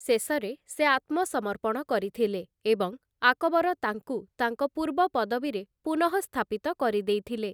ଶେଷରେ, ସେ ଆତ୍ମସମର୍ପଣ କରିଥିଲେ ଏବଂ ଆକବର ତାଙ୍କୁ ତାଙ୍କ ପୂର୍ବ ପଦବୀରେ ପୁନଃସ୍ଥାପିତ କରିଦେଇଥିଲେ ।